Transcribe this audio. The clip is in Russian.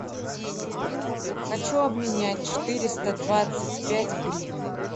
хочу обменять четыреста двадцать пять гривны